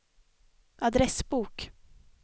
adressbok